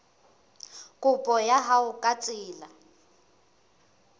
kopo ya hao ka tsela